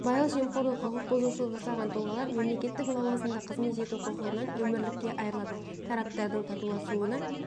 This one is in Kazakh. сыбайлас жемқорлық құқық бұзушылық жасаған тұлғалар мемлекеттік лауазымда қызмет ету құқығынан өмірлікке айырылады тараптардың татуласуына